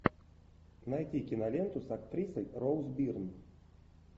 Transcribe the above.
найти киноленту с актрисой роуз бирн